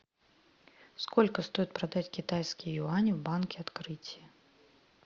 сколько стоит продать китайские юани в банке открытие